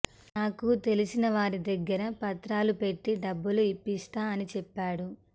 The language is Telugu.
నాకు తెలిసినవారి దగ్గర పత్రాలు పెట్టి డబ్బులు ఇప్పిస్తా అని చెప్పాడు